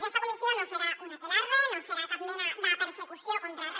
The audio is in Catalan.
aquesta comissió no serà un aquelarre no serà cap mena de persecució contra re